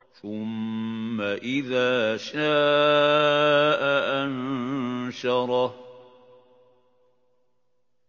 ثُمَّ إِذَا شَاءَ أَنشَرَهُ